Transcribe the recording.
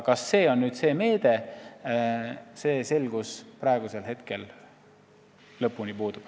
Kas see on aga just see meede, selles suhtes lõplik selgus praegu puudub.